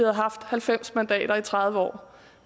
haft halvfems mandater i tredive år